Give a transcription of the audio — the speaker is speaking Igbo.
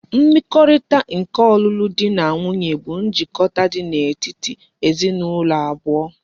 Mmekorita nke olulu di na nwunye bu njikota di etiti ezi na ulo abuo